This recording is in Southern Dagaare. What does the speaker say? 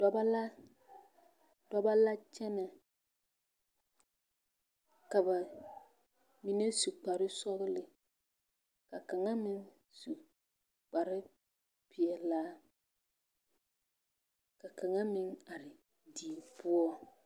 Dɔbɔ la, dɔbɔ la kyɛnɛ ka ba mine su kpare sɔgele ka kaŋa meŋ su kpare peɛlaa ka kaŋa meŋ are die poɔ.